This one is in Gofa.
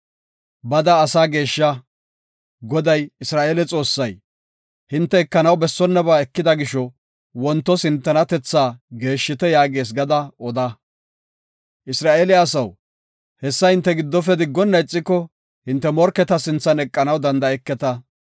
Bada asaa geeshsha. Goday, Isra7eele Xoossay, “Hinte ekanaw bessonnaba ekida gisho, wontos hintenatethaa geeshshite” yaagees gada oda. Isra7eele asaw, hessa hinte giddofe diggona ixiko, hinte morketa sinthan eqanaw danda7eketa.